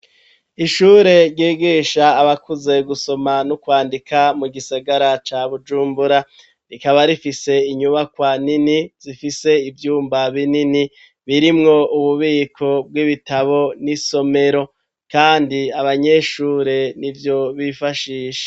Ishure ryigisha abakuze gusoma no kwandika mu gisagara ca bujumbura rikaba rifise inyubakwa nini zifise ivyumba binini birimwo ububiko bw'ibitabo n'isomero kandi abanyeshure nivyo bifashisha.